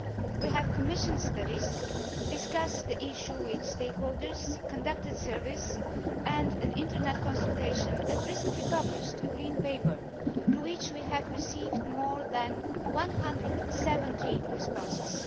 We have commissioned studies, discussed the issue with stakeholders, conducted surveys and an Internet consultation, and recently published a green paper to which we have received more than 170 responses.